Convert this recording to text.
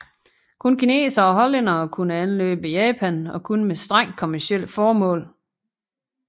Kun kinesere og hollændere kunne anløbe Japan og kun med strengt kommercielle formål